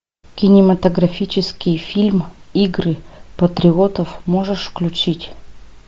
кинематографический фильм игры патриотов можешь включить